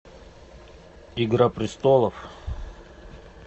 игра престолов